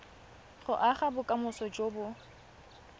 go aga bokamoso jo bo